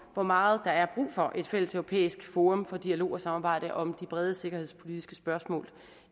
hvor meget der er brug for et fælles europæisk forum for dialog og samarbejde om de brede sikkerhedspolitiske spørgsmål